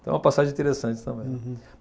Então é uma passagem interessante também. Uhum